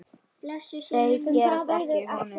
Þeir gerast ekki honum líkir.